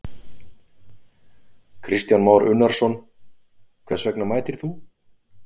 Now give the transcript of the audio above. Kristján Már Unnarsson: Hvers vegna mætir þú?